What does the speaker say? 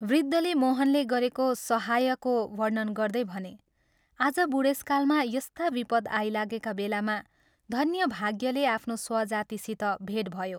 वृद्धले मोहनले गरेको सहाय्यको वर्णन गर्दै भने, " आज बूढेसकालमा यस्ता विपद आइलागेका बेलामा धन्य भाग्यले आफ्नो स्वजातिसित भेट भयो।